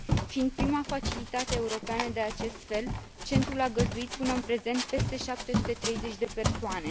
Fiind prima facilitate europeană de acest fel, centrul a găzduit până în prezent peste 730 de persoane.